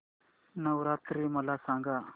नवरात्री मला सांगा